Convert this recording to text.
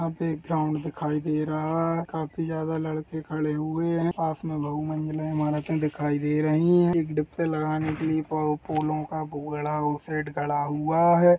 यहाँ पे एक ग्राउन्ड दिखाई दे रहा है काफी ज्यादा लड़के खड़े हुए है पास में बहुमंजिले इमारतें दिखाई दे रही है एक डिब्बे लगाने के लिए पो पोलो का घोड़ा उस साइड खड़ा हुआ हैं।